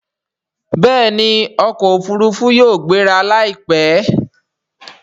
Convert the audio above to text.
Bẹẹni okò òfurufú yóò gbéra laipẹ.